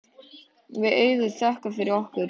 Við Auður þökkum fyrir okkur.